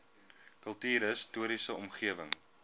kultuurhis toriese omgewing